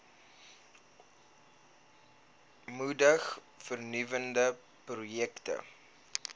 moedig vernuwende projekte